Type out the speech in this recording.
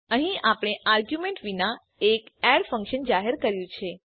અહીં આપણે આર્ગ્યુમેન્ટ વિના એક એડ ફંક્શન જાહેર કર્યું છે